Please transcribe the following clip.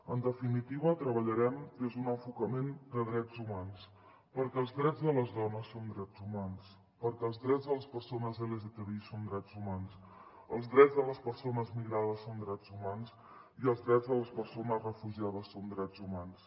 en definitiva treballarem des d’un enfocament de drets humans perquè els drets de les dones són drets humans perquè els drets de les persones lgtbi són drets humans els drets de les persones migrades són drets humans i els drets de les persones refugiades són drets humans